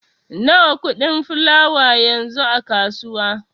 Nawa kuɗin fulawa yanzu a kasuwa?